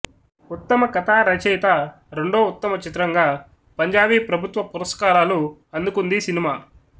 ఉత్తమ కథా రచయిత రెండో ఉత్తమ చిత్రంగా పంజాబీ ప్రభుత్వ పురస్కారాలు అందుకుందీ సినిమా